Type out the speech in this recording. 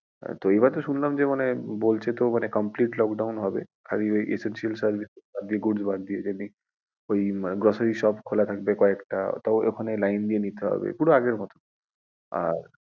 হ্যাঁ তো এইবারে শুনলাম যে মানে বলছে তো মানে complete lockdown হবে আর ওই essential service বাদ দিয়ে food বাদ দিয়ে ওই যেমনি grocery shop খোলা থাকবে কয়েকটা তাও ওখানে line দিয়ে নিতে হবে পুরো আগের মতো।